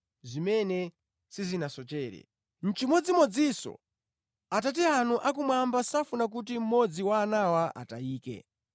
Chimodzimodzinso Atate anu akumwamba safuna kuti mmodzi wa anawa atayike.